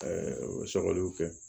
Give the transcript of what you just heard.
o sɔgɔliw kɛ